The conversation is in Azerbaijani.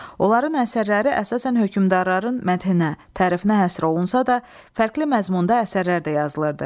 Onların əsərləri əsasən hökümdarların məthininə, tərifinə həsr olunsa da, fərqli məzmunda əsərlər də yazılırdı.